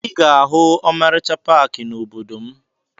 Ị ga-ahụ ọmarịcha paakị n'obodo m